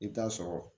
I bɛ taa sɔrɔ